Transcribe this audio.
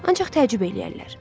Ancaq təəccüb eləyərlər.